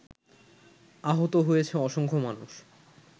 আহত হয়েছে অসংখ্য মানুষ